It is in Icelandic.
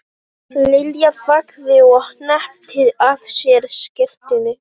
Lilja þagði og hneppti að sér skyrtunni.